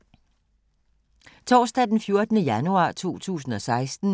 Torsdag d. 14. januar 2016